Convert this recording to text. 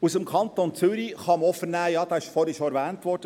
Aus dem Kanton Zürich – der Kanton Zürich wurde vorhin schon erwähnt;